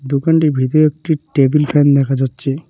দোকানটির ভিতরে একটি টেবিল ফ্যান দেখা যাচ্ছে ।